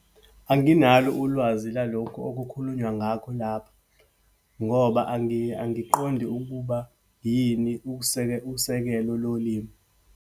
Anginalo ulwazi lalokhu okukhulunywa ngakho lapha. Ngoba angiqondi ukuba yini usekelo lolimi.